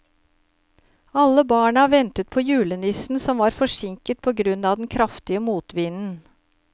Alle barna ventet på julenissen, som var forsinket på grunn av den kraftige motvinden.